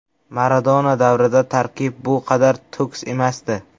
Maradona davrida tarkib bu qadar to‘kis emasdi.